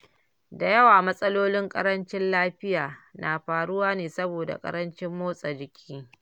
Da yawa matsalolin ƙarancin lafiya na faruwa ne saboda karancin motsa jiki